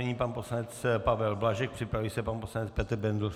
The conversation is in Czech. Nyní pan poslanec Pavel Blažek, připraví se pan poslanec Petr Bendl.